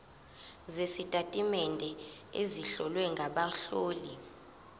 sezitatimende ezihlowe ngabahloli